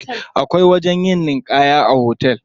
Akwai wajen yin ninƙaya a cikin hotel.